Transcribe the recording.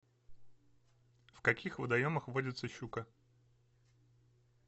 в каких водоемах водится щука